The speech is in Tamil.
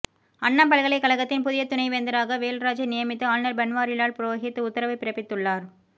அண்ணா பல்கலைக்கழகத்தின் புதிய துணைவேந்தராக வேல்ராஜை நியமித்து ஆளுநர் பன்வாரிலால் புரோஹித் உத்தரவு பிறப்பித்துள்ளார்